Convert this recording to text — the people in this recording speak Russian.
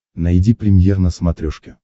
найди премьер на смотрешке